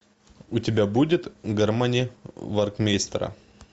у тебя будет гармонии веркмейстера